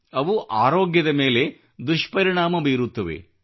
ಅವು ಆರೋಗ್ಯದ ಮೇಲೆ ದುಷ್ಪರಿಣಾಮ ಬೀರುತ್ತವೆ